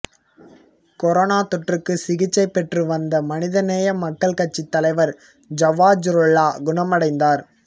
corona தொற்றுக்கு சிகிச்சை பெற்றுவந்த மனிதநேய மக்கள் கட்சி தலைவர் ஜவாஹிருல்லா குணமடைந்தார்